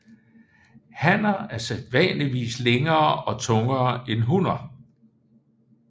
Hanner er sædvanligvis længere og tungere end hunner